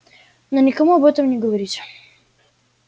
но никому об этом не говорите